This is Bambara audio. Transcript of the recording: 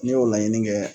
Ne y'o laɲini kɛ